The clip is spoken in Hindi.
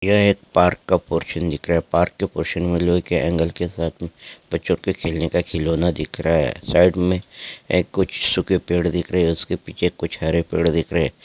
यह एक पार्क का पोर्शन दिख रहा है पार्क के पोर्शन मे लोहे के ऐंगल के साथ मे बच्चों के खेलने के खिलौना दीख रहा है साइड मे कुछ सूखे पेड़ दीख रहे है उसके पीछे कुछ हरे पेड़ दिख रहे है।